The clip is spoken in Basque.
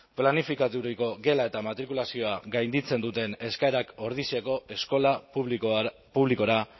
planifikaturiko gela eta matrikulazioa gainditzen duten eskaerak ordiziako eskola publikora